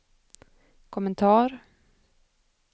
kommentar